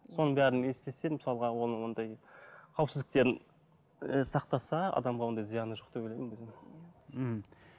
соның бәрін істесе мысалға оның ондай қауіпсіздіктерін ы сақтаса адамға ондай зияны жоқ деп ойлаймын өзім